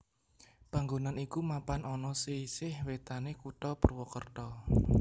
Panggonan iku mapan ana sisih wétanné Kutha Purwokerto